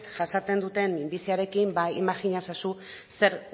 jasaten duten minbiziarekin ba imajina ezazu zer